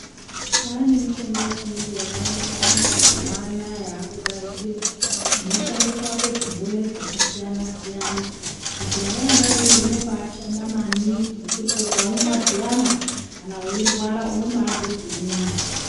Kwane mishonga ye chiyungu yaka wanda wanda mazuva anaya yaku gadzirwa inoshande kurape zvirwere zvaka siyana siyana mishonga yona iyoyo inobai shanda maningi nekuti ukaumwa zviyana kana weirwara unobaizwe zviri nane.